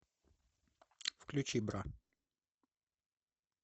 включи бра